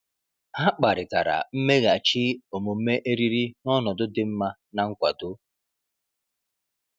Ha kparịtara mmeghachi omume eriri n’ọnọdụ dị mma na nkwado.